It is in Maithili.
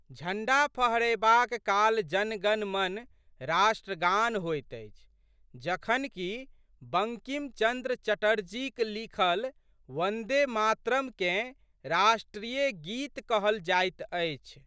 झंडा फहरयबाक काल जनगणमन" राष्ट्रगान होइत अछि जखन कि बंकिमचन्द्र चटर्जीक लिखल वन्दे मातरम्" केँ राष्ट्रीय गीत कहल जाइत अछि।